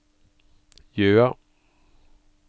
Jøa